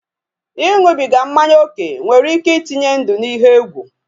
Iṅụbiga mmanya oke nwere ike itenye ndụ n'ihe egwu